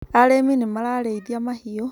arĩmi nĩmarariithia mahiũ